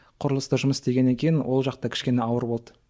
құрылыста жұмыс істегеннен кейін ол жақта кішкене ауыр болды